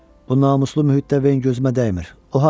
Bu namuslu mühitdə Ven gözümə dəymir.